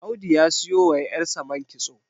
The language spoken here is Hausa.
Audu ya siyo wa yarsa man kitso